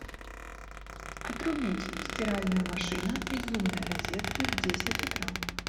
отрубить стиральная машина из умной розетки в десять утра